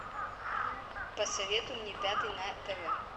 посоветуй мне пятый на тв